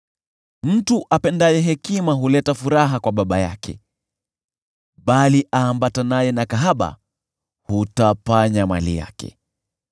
Mtu apendaye hekima huleta furaha kwa baba yake, bali aambatanaye na makahaba hutapanya mali yake.